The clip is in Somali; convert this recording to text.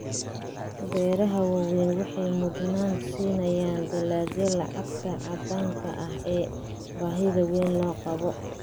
Beeraha waaweyni waxay mudnaan siiyaan dalagyada lacagta caddaanka ah ee baahida weyn loo qabo.